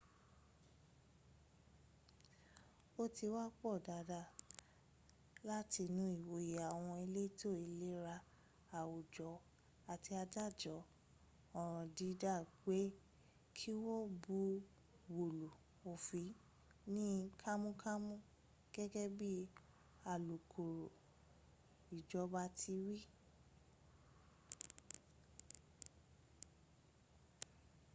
ó ti wá pọn dandan látinú ìwòye àwọn elétò ìlera àwùjọ àti adájọ́ ọ̀ràn dídá pé kí wọ́n buwọ́lu òfin ní kánmọ́ kánmọ́ gẹ́gẹ́ bí alukoro ìjọba ti wí